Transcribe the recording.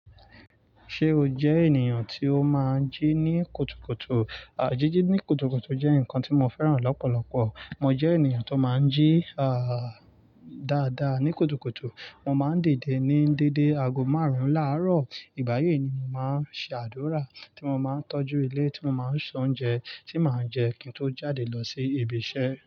Ṣé o jẹ́ ènìyàn tí ó máa ń jí ní kùtùkùtù? Jijí ní kùtùkùtù jẹ́ nǹkan tí mo fẹ́ràn lọ́pọ̀lọpọ̀. Mo jẹ́ ènìyàn tó máa ń jí, àà, dáadáa ní kùtùkùtù. Mo máa ń didè ní déedé aago márùn-ún láàárọ̀. Ìgbà yí ni mo máa ń ṣe àdúrà, tí mo máa ń tọ́jú ilé, tí mo máa ń se oúnjẹ tí màá jẹ kí n tó jáde lọ sí ibi iṣẹ́.